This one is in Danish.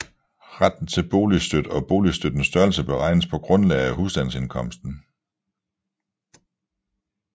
Retten til boligstøtte og boligstøttens størrelse beregnes på grundlag af husstandsindkomsten